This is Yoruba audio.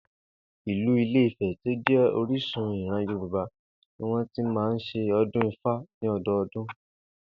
Ìlú Ilé-Ifè̩ tí ó jé̩ orísun ìran Yorùbá ni wó̩n ti máa ń s̩e o̩dún Ifá ní o̩do̩o̩dún